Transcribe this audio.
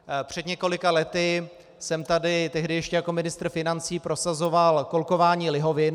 Před několika lety jsem tady, tehdy ještě jako ministr financí, prosazoval kolkování lihovin.